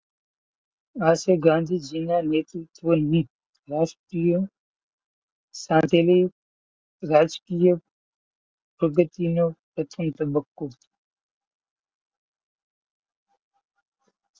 આ છે ગાંધીજીના નેતૃત્વની રાષ્ટ્રીય સાથેની રાજકીય અગત્યનો પ્રથમ તબક્કો.